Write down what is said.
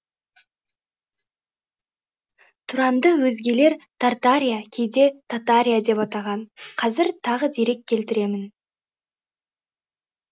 тұранды өзгелер тартария кейде татария деп атаған қазір тағы дерек келтіремін